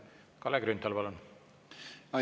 Kalle Grünthal, palun!